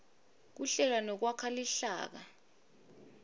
kuhlela nekwakha luhlaka